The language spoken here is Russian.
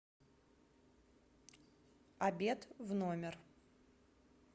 обед в номер